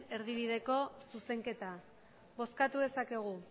erdibideko zuzenketa bozkatu dezakegu